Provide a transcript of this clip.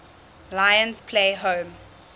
lions play home